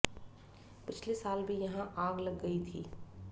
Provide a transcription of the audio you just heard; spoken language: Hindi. पिछले साल भी यहां आग लग गई थी